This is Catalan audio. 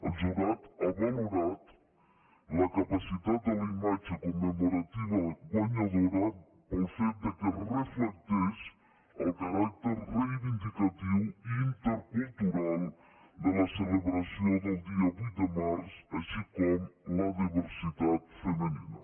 el jurat ha valorat la capacitat de la imatge commemorativa guanyadora pel fet que reflecteix el caràcter reivindicatiu i intercultural de la celebració del dia vuit de març així com la diversitat femenina